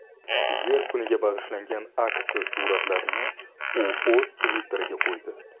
Yer kuniga bag‘ishlangan aksiya suratlarini u o‘z Twitter’iga qo‘ydi.